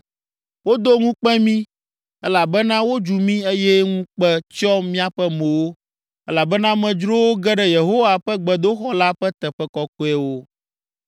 “Wodo ŋukpe mí elabena wodzu mí eye ŋukpe tsyɔ míaƒe mowo, elabena amedzrowo ge ɖe Yehowa ƒe gbedoxɔ la ƒe teƒe kɔkɔewo.”